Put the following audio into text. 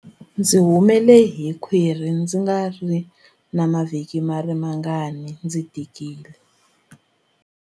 Ndzi humele hi khwiri loko ndza ha ri na mavhiki mangarimangani ndzi tikile.